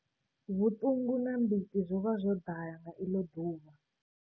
Vhuṱungu na mbiti zwo vha zwo ḓala nga iḽo ḓuvha.